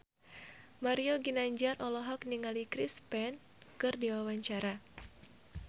Mario Ginanjar olohok ningali Chris Pane keur diwawancara